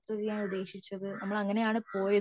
യാത്ര ചെയ്യാൻ ഉദ്ദേശിച്ചത് നമ്മൾ അങ്ങനെ ആണ് പോയതും